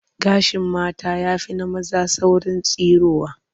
Gashin mata ya fi na maza saurin tsirowa